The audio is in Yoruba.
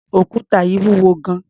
Òkúta yìí wúwo gan-an.